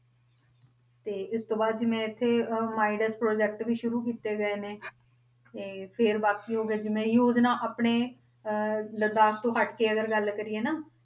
ਤੇ ਇਸ ਤੋਂ ਬਾਅਦ ਜਿਵੇਂ ਇੱਥੇ ਅਹ project ਵੀ ਸ਼ੁਰੂ ਕੀਤੇ ਗਏ ਨੇ ਤੇ ਫਿਰ ਬਾਕੀ ਹੋ ਗਿਆ ਜਿਵੇਂ ਯੋਜਨਾ ਆਪਣੇ ਅਹ ਲਦਾਖ ਤੋਂ ਹੱਟ ਕੇ ਅਗਰ ਗੱਲ ਕਰੀਏ ਨਾ,